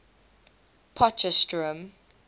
potchefstroom